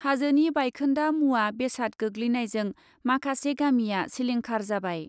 हाजोनि बायखोन्दा मुवा बेसाद गोग्लैनायजों माखासे गामिया सिलिंखार जाबाय ।